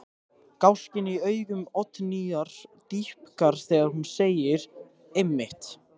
Gáskinn í augum Oddnýjar dýpkar þegar hún segir: Einmitt.